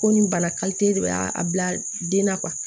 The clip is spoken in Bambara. Ko nin bana de y'a bila den na